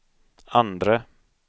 andre